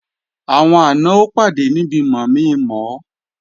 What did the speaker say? Àwọn àna ó pàdé níbi mọ̀mi-mọ̀ ọ